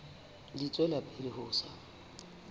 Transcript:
di tswela pele ho sa